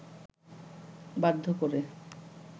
বাধ্য করে